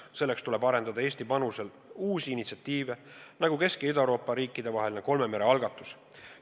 Selleks tuleb arendada Eesti algatusel uusi initsiatiive, nagu Kesk- ja Ida-Euroopa riikide vaheline kolme mere algatus.